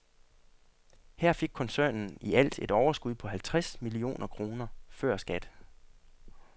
Her fik koncernen i alt et overskud på halvtreds millioner kroner før skat.